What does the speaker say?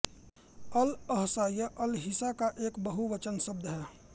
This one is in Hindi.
अल अहसा यह अलहिसा का एक बहुवचन शब्द है